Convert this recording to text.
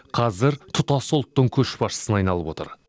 қазір тұтас ұлттың көшбасшысына айналып отыр